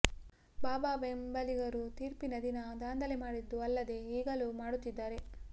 ಬಾಬಾ ಬೆಂಬಲಿಗರು ತೀರ್ಪಿನ ದಿನ ದಾಂಧಲೆ ಮಾಡಿದ್ದು ಅಲ್ಲದೇ ಈಗಲೂ ಮಾಡುತ್ತಿದ್ದಾರೆ